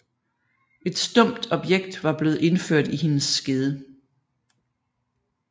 Et stumpt objekt var blevet indført i hendes skede